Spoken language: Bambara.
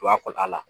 Tuba kɔta la